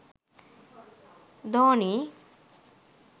dhoni